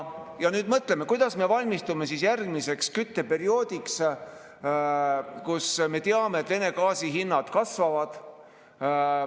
Nüüd mõtleme, kuidas me valmistume järgmiseks kütteperioodiks, kui me teame, et Vene gaasi hinnad kasvavad.